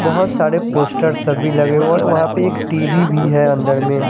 बहोत सारे पोस्टर सभी लगे हुए और वहा पे एक टी_वि भी है अन्दर में--